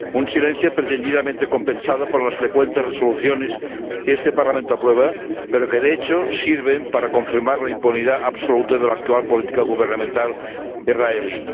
Un silencio pretendidamente compensado por las frecuentes resoluciones que este Parlamento aprueba, pero que de hecho sirven para confirmar la impunidad absoluta de la actual política gubernamental israelí.